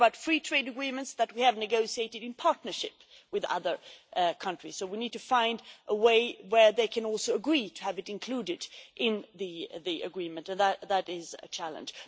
We are talking about free trade agreements that we have negotiated in partnership with other countries. So we need to find a way where they can also agree to have it included in the agreement and that is a challenge.